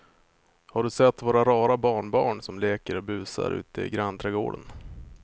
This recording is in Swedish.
Har du sett våra rara barnbarn som leker och busar ute i grannträdgården!